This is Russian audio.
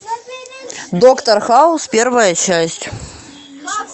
доктор хаус первая часть